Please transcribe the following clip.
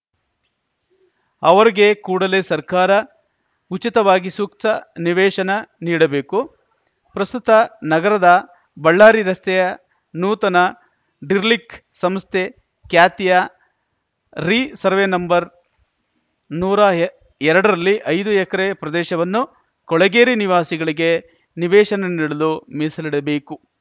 ಅವರಿಗೆ ಕೂಡಲೇ ಸರ್ಕಾರ ಉಚಿತವಾಗಿ ಸೂಕ್ತ ನಿವೇಶನ ನೀಡಬೇಕು ಪ್ರಸ್ತುತ ನಗರದ ಬಳ್ಳಾರಿ ರಸ್ತೆಯ ನೂತನ ಡಿರ್ಲಿಕ್ಕ್ ಸಂಸ್ಥೆ ಖ್ಯಾತಿಯ ರಿಸರ್ವೆನಂಬರ್ನೂರಾ ಎರಡರಲ್ಲಿ ಐದು ಎಕರೆ ಪ್ರದೇಶವನ್ನು ಕೊಳಗೇರಿ ನಿವಾಸಿಗಳಿಗೆ ನಿವೇಶನ ನೀಡಲು ಮೀಸಲಿಡಬೇಕು